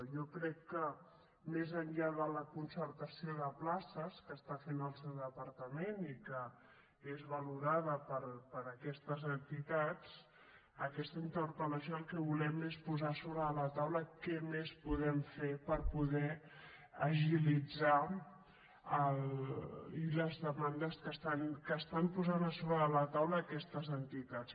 jo crec que més enllà de la concertació de places que està fent el seu departament i que és valorada per aquestes entitats amb aquesta interpel·lació el que volem és posar sobre la taula què més podem fer per poder agilitzar les demandes que estan posant sobre la taula aquestes entitats